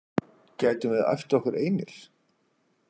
Gætum við æft okkur einir?